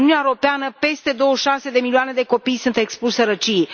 În Uniunea Europeană peste 26 de milioane de copii sunt expuși sărăciei.